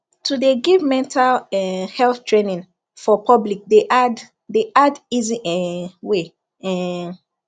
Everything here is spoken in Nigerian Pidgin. to de give mental um health traning for public de add de add easy um way um